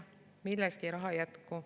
Millekski raha ei jätku.